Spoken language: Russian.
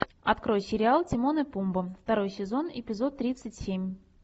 открой сериал тимон и пумба второй сезон эпизод тридцать семь